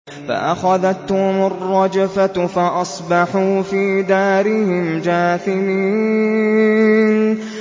فَأَخَذَتْهُمُ الرَّجْفَةُ فَأَصْبَحُوا فِي دَارِهِمْ جَاثِمِينَ